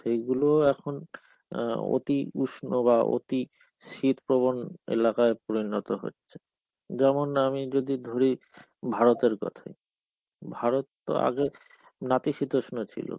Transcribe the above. সেইগুলো এখন আ এখন অতি উষ্ণ বা অতি শীত প্রবন এলাকায় পরিনত হচ্ছে. যেমন আমি যদি ধরি ভারতের কথাই. ভারত আগে নাতিশিতিষ্ণ ছিলো.